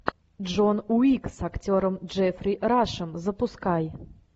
джон уик с актером джеффри рашем запускай